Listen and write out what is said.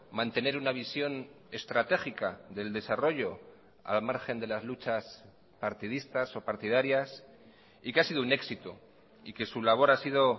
mantener una visión estratégica del desarrollo al margen de las luchas partidistas o partidarias y que ha sido un éxito y que su labor ha sido